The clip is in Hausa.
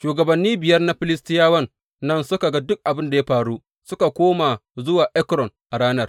Shugabanni biyar na Filistiyawan nan suka ga duk abin da ya faru, suka koma zuwa Ekron a ranar.